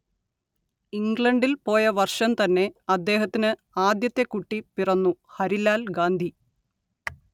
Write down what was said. ഇംഗ്ലണ്ടിൽ പോയ വർഷം തന്നെ അദ്ദേഹത്തിന് ആദ്യത്തെ കുട്ടി പിറന്നു ഹരിലാൽ ഗാന്ധി